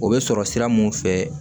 O bɛ sɔrɔ sira mun fɛ